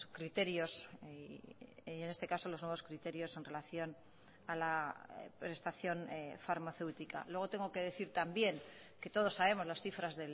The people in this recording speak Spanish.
criterios y en este caso los nuevos criterios en relación a la prestación farmacéutica luego tengo que decir también que todos sabemos las cifras